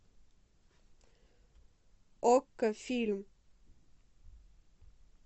окко фильм